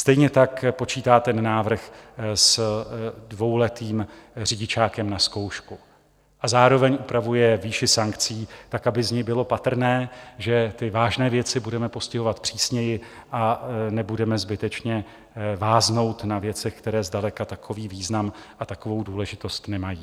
Stejně tak počítá ten návrh s dvouletým řidičákem na zkoušku a zároveň upravuje výši sankcí tak, aby z ní bylo patrné, že ty vážné věci budeme postihovat přísněji a nebudeme zbytečně váznout na věcech, které zdaleka takový význam a takovou důležitost nemají.